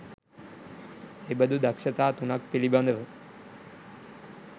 එබඳු දක්‍ෂතා 03 ක් පිළිබඳව